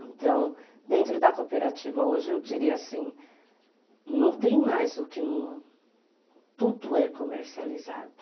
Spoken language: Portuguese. Então, dentro da cooperativa hoje, eu diria assim, não tem mais o que... Tudo é comercializado.